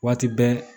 Waati bɛɛ